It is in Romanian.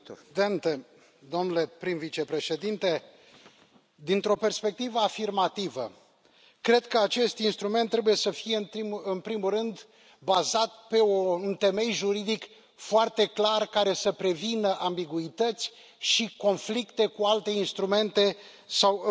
Domnule președinte, domnule prim vicepreședinte, dintr o perspectivă afirmativă, cred că acest instrument trebuie să fie, în primul rând, bazat pe un temei juridic foarte clar, care să prevină ambiguități și conflicte cu alte instrumente sau